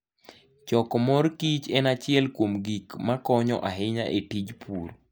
Choko mor kich en achiel kuom gik makonyo ahinya e tij pur.